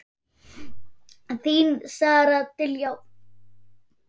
Þín Sara Diljá.